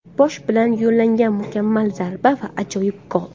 Bosh bilan yo‘llangan mukammal zarba va ajoyib gol.